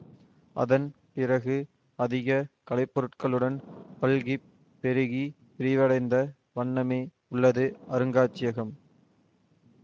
அதன் பிறகு அதிக கலைப்பொருட்களுடன் பல்கிப் பெருகி விரிவடைந்த வண்ணமே உள்ளது அருங்காட்சியகம்